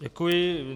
Děkuji.